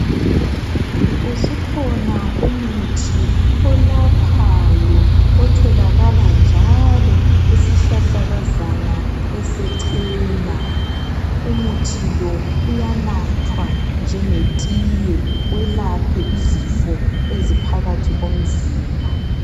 Usukhona umuthi olaphayo otholakala njalo kusihlahlakazana esechena. Umuthi lo uyanathwa njengetiye welaphe izifo eziphakathi komzimba.